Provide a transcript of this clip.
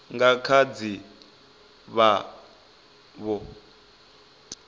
nga kha ḓi vha vho